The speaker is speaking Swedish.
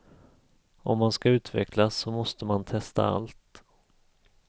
Om man ska utvecklas så måste man testa allt.